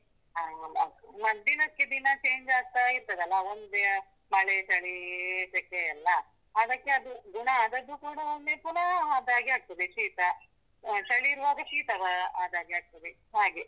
ಆ ಮರ್ದಿನಕ್ಕೆ ದಿನ change ಆಗ್ತಾ ಇರ್ತದಲ್ಲ, ಒಂದಿನ ಮಳೆ ಚಳಿ ಸೆಖೆ ಎಲ್ಲ, ಅದಕ್ಕೆ ಅದು ಗುಣ ಅದಕ್ಕೂ ಕೂಡ ಒಮ್ಮೆ ಪುನ ಹಾಗೆ ಆಗ್ತದೆ ಶೀತ ಆ ಚಳಿ ಏರುವಾಗ ಶೀತ ಆದಾಗೆ ಆಗ್ತದೆ, ಹಾಗೆ.